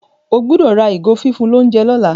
o gbódò rà ìgò fífún l'ounjẹ lola.